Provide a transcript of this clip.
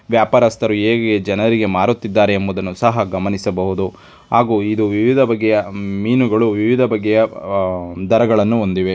ವ್ಯಾಪಾರಸ್ಥರು ಹೇಗೆ ಜನರಿಗೆ ಮಾರುತ್ತಿದ್ದಾರೆ ಎಂಬುದನ್ನು ಸಹ ಗಮನಿಸಬಹುದು ಹಾಗು ಇದು ವಿವಿಧ ಬಗೆಯ ಮೀನುಗಳು ವಿವಿಧ ಬಗೆಯ ದರಗಳನ್ನು ಹೊಂದಿವೆ.